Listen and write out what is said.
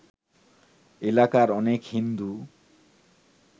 এলাকার অনেক হিন্দু